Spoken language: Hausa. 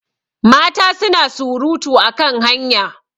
mata suna surutu a kan hanya